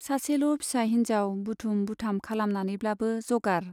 सासेल' फिसा हिन्जाव बुथुम बुथाम खालामनानैब्लाबो जगार